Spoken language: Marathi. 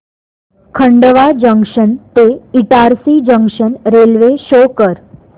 खंडवा जंक्शन ते इटारसी जंक्शन रेल्वे शो कर